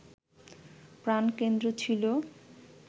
প্রাণকেন্দ্র ছিল